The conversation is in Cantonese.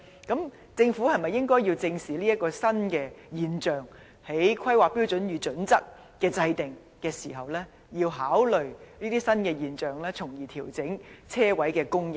政府是否應該正視這個新現象，在制訂《香港規劃標準與準則》時一併考慮，從而調整泊車位的供應。